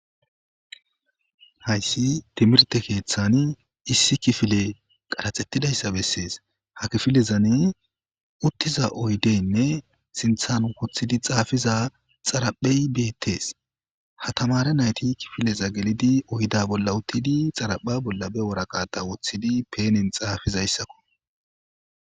Hayisi timirite keeththani issi kifile qaraxetidayisa beesesi ha misilezan uttida oyideynne sinththani woththid xaafiza xaaraphey beettesi ha tamar nayiti kifileza gelid oyida bola uttidi xaarapha bola ba waraqata woththidi penen xaafizayikk